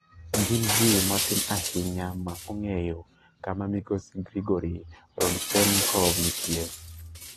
Gin ji matin ahinya ma ong'eyo kama migosi Grigory Rodchenkov nitie.